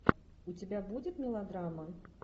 у тебя будет мелодрама